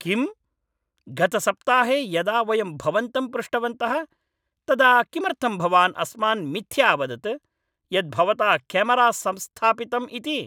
किम्? गतसप्ताहे यदा वयं भवन्तं पृष्टवन्तः तदा किमर्थं भवान् अस्मान् मिथ्या अवदत् यत् भवता केमरा संस्थापितम् इति?